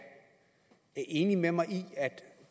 enig med mig i at